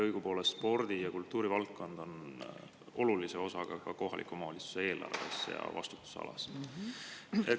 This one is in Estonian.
Õigupoolest on spordi‑ ja kultuurivaldkond olulises osas kohaliku omavalitsuse eelarves ja vastutusalas.